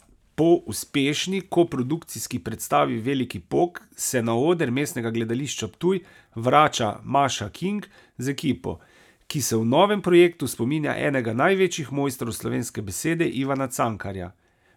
Po uspešni koprodukcijski predstavi Veliki pok se na oder Mestnega gledališča Ptuj vrača Maša Kink z ekipo, ki se v novem projektu spominja enega največjih mojstrov slovenske besede, Ivana Cankarja.